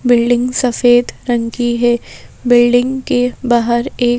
building सफेद रंग की है बिल्डिंग के बाहर एक--